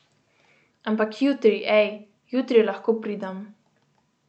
Ampak jutri, ej, jutri lahko pridem.